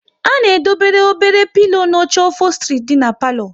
A na edobe obere pilo na oche ofostri dị n'palo